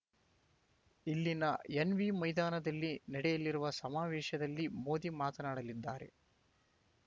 ಇಲ್ಲಿನ ಎನ್‌ವಿ ಮೈದಾನದಲ್ಲಿ ನಡೆಯಲಿರುವ ಸಮಾವೇಶದಲ್ಲಿ ಮೋದಿ ಮಾತನಾಡಲಿದ್ದಾರೆ